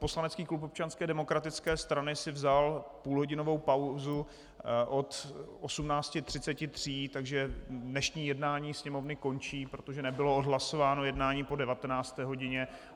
Poslanecký klub Občanské demokratické strany si vzal půlhodinovou pauzu od 18.33, takže dnešní jednání Sněmovny končí, protože nebylo odhlasováno jednání po 19. hodině.